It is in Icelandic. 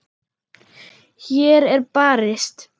Hér er barist.